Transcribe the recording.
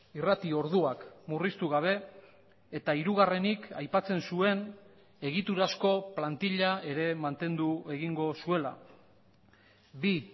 irrati orduak murriztu gabe eta hirugarrenik aipatzen zuen egiturazko plantila ere mantendu egingo zuela bi